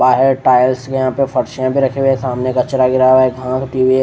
बाहर टायर्स यहां पर भी रखी हुई है सामने कचरा गिरा हुआ है --